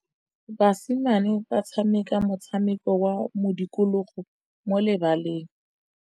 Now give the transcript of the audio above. Basimane ba tshameka motshameko wa modikologô mo lebaleng.